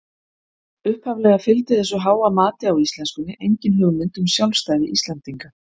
Upphaflega fylgdi þessu háa mati á íslenskunni engin hugmynd um sjálfstæði Íslendinga.